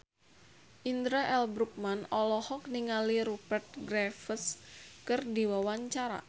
Indra L. Bruggman olohok ningali Rupert Graves keur diwawancara